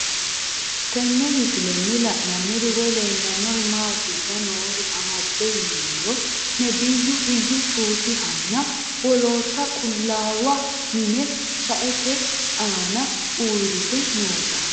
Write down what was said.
Tenne misilenni la'nanniri woy leellannori maattiya noori amadde yinummoro nebiyu iyyu cufihu nna wollottu qulaawa mine shaette aanna uureitte nootta